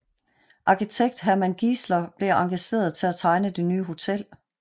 Arkitekt Hermann Giesler blev engageret til at tegne det nye hotel